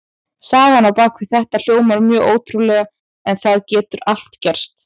Sagan á bak við þetta hljómar mjög ótrúlega en það getur allt gerst.